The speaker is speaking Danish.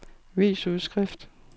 vis udskrift